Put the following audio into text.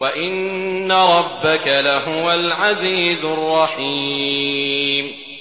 وَإِنَّ رَبَّكَ لَهُوَ الْعَزِيزُ الرَّحِيمُ